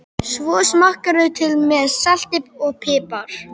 Svo smakkarðu til með salti og pipar.